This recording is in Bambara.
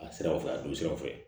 A siraw fɛ a don siraw fɛ